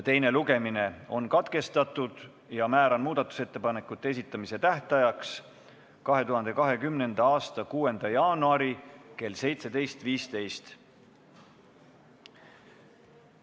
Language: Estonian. Teine lugemine on katkestatud ja määran muudatusettepanekute esitamise tähtajaks 2020. aasta 6. jaanuari kell 17.15.